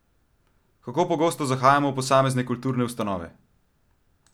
Kako pogosto zahajamo v posamezne kulturne ustanove?